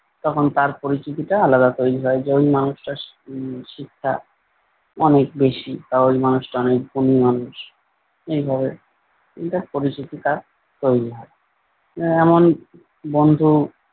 তখন তার পরিচিতিটা আলাদা তৈরী হয় যে ঐ মানুষটার স উম শিক্ষা অনেক বেশি। তাহলে মানুষটা অনেক গুণী মানুষ এইভাবে তার পরিচিতিটা তৈরী হয়। আহ এমন বন্ধু,